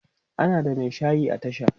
ana da Mai shayi a tasha